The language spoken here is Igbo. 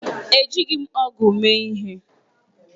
Ejighị m ọ̀gu mee ihe.